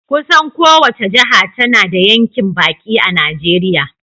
Kusan kowace jiha tana da yankin baki a Najeriya.